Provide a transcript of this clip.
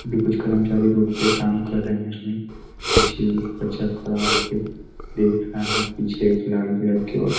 अभी कुछ कर्मचारी रोड पे काम कर रहे हैं कुछ बच्चा खड़ा हो के देख रहा हैं पीछे एक लाल कलर की ओ --